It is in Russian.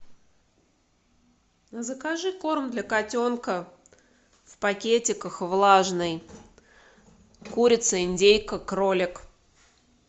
закажи корм для котенка в пакетиках влажный курица индейка кролик